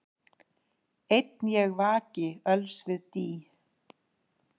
Einn ég vaki öls við dý,